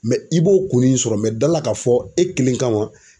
i b'o kunnin sɔrɔ da la ka fɔ e kelen kama